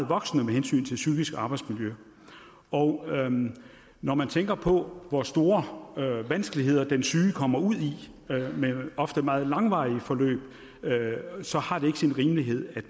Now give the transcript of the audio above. voksende med hensyn til det psykiske arbejdsmiljø og når man tænker på hvor store vanskeligheder den syge kommer ud i med ofte meget langvarige forløb så har det ikke sin rimelighed at